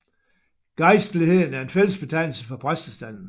Gejstligheden er en fællesbetegnelse for præstestanden